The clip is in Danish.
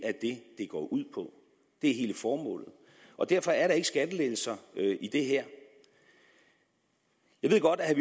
går ud på det er hele formålet og derfor er der ikke skattelettelser i det her jeg ved godt at